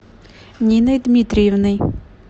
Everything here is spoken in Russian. ниной дмитриевной